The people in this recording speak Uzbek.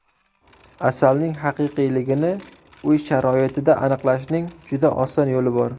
Asalning haqiqiyligini uy sharoitida aniqlashning juda oson yo‘li bor.